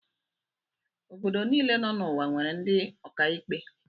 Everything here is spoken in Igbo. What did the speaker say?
Obodo niile nọ n'ụwa nwere ndị ọkàikpe.